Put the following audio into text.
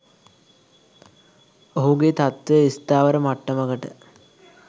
ඔහුගේ තත්ත්වය ස්ථාවර මට්ටමකට